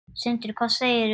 Sindri: Hvað segirðu?